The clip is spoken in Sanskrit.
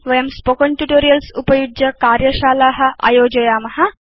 वयं स्पोकेन ट्यूटोरियल्स् उपयुज्य कार्यशाला आयोजयाम